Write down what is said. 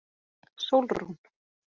Sólrún